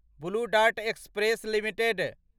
blue Dart Express limited